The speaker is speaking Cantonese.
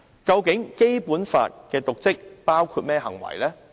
究竟《基本法》訂明的"瀆職"包括甚麼行為？